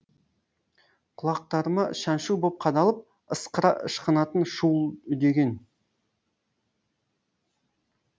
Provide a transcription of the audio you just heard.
құлақтарыма шаншу боп қадалып ысқыра ышқынатын шуыл үдеген